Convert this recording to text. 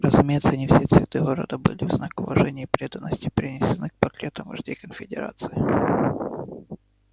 разумеется не все цветы города были в знак уважения и преданности принесены к портретам вождей конфедерации